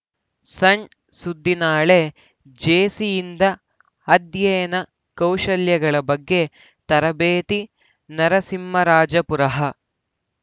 ಸಣ್‌ ಸುದ್ದಿನಾಳೆ ಜೇಸಿಯಿಂದ ಅಧ್ಯಯನ ಕೌಶಲ್ಯಗಳ ಬಗ್ಗೆ ತರಬೇತಿ ನರಸಿಂಹರಾಜಪುರಃ